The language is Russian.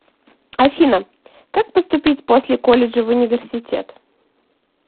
афина как поступить после колледжа в университет